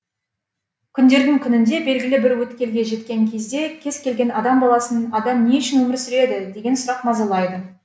күндердің күнінде белгілі бір өткелге жеткен кезде кез келген адам баласын адам не үшін өмір сүреді деген сұрақ мазалайды